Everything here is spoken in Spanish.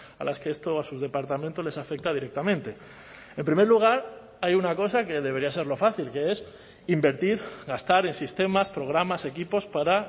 a las que esto a sus departamentos les afecta directamente en primer lugar hay una cosa que debería ser lo fácil que es invertir gastar en sistemas programas equipos para